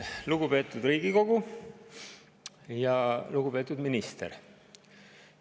Lugupeetud Riigikogu ja lugupeetud minister!